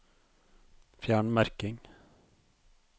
Fjern merking